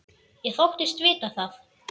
Ég þóttist vita það.